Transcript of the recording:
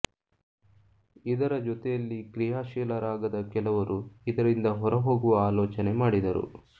ಇದರ ಜೊತೆಯಲ್ಲಿ ಕ್ರಿಯಾಶೀಲರಾಗದ ಕೆಲವರು ಇದರಿಂದ ಹೊರಹೋಗುವ ಆಲೋಚನೆ ಮಾಡಿದರು